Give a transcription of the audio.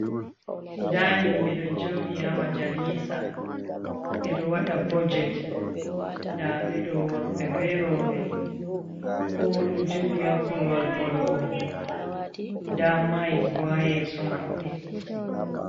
Nda himɓe ɗo joɗi ha majalisa ɓe ɗo waɗa budget , nda ɓe ɗo worɓe ɓe rooɓe kowa ɗo joɗi ha korowal bolugol, nda mic bo ha yeeso maɓɓe.